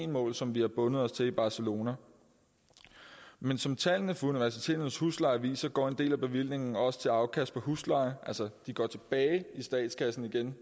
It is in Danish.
mål som vi har bundet os til i barcelona men som tallene for universiteternes husleje viser går en del af bevillingen også til afkast af husleje altså de går tilbage i statskassen igen